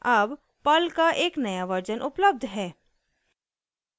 अब पर्ल का एक नया वर्जन उपलब्ध है